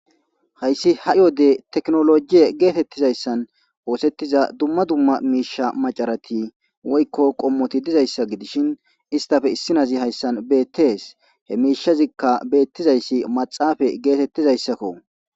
Hayssi h'i wode tekinoloje geetetizayssan oosetiza dumma dumma miishsha macarati woykko qomoti dizayssa gidishin istappe issi naazi hayssan beetees.he mishazikka beetizayssi maxafe geetetizayssakko .